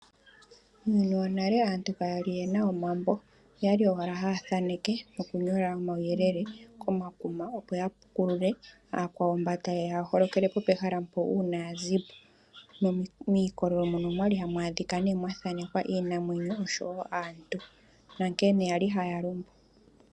Muuyuni wonale aantu kayali yena omambo okwali owalala haya thaneke noku nyola omawu yelele komakuma opo ya pukulule aakwawo mbono tayeya ya holokele po pehala mpo uuna ya zipo, miikololo mono okwali hamu adhika mwa thankekwa iinamwenyo naantu nonkene kwali haya kondjo.